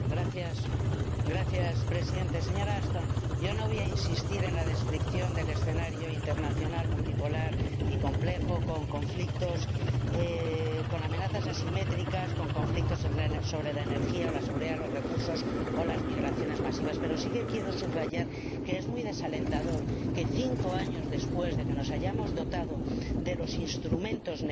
Señor Presidente, señora Ashton, yo no voy a insistir en la descripción del escenario internacional multipolar y complejo, con amenazas asimétricas, con conflictos sobre la energía, la seguridad, los recursos o las migraciones masivas, pero sí quiero subrayar que es muy desalentador que cinco años después de que nos hayamos dotado de los instrumentos necesarios